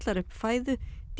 upp fæðu